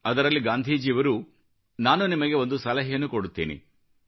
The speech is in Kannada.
ಅದರಲ್ಲಿ ಗಾಂಧೀಜಿಯವರು ನಾನು ನಿಮಗೆ ಒಂದು ಸಲಹೆಯನ್ನು ಕೊಡುತ್ತೇನೆ